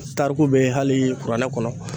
tariku bɛ hali kuranɛ kɔnɔ